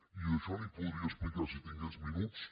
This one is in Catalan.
i d’això n’hi podria explicar si tingués minuts